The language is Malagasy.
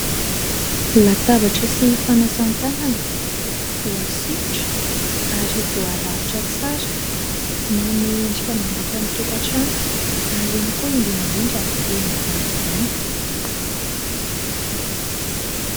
Latabatra sy fanasana tanana voasikotra ary voarafitra tsara manome endrika amam-bika ny tokantrano ary ihany koa indrindra indrindra eny an-jaridaina.